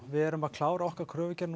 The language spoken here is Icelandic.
við erum að klára okkar kröfugerð